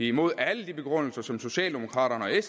imod alle de begrundelser som socialdemokratiet